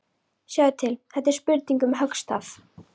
Sjáðu til, þetta er spurning um höggstað.